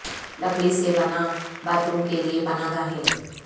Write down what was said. لکڑی سے بنا باتھ روم کے لئے پناہ گاہیں